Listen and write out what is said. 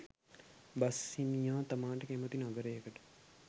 bus හිමියා තමාට කැමති නගරයකට